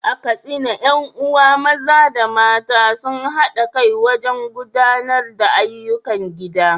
A Katsina, ƴan uwa maza da mata sun haɗa kai wajen gudanar da ayyukan gida.